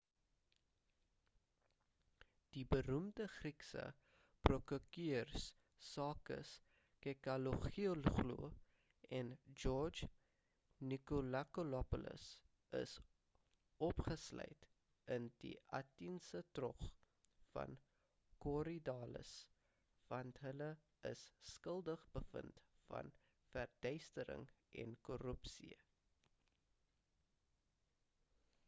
die beroemde griekse prokureurs sakis kechagioglou en george nikolakopoulos is opgesluit in die ateniese tronk van korydallus want hulle is skuldig bevind aan verduistering en korrupsie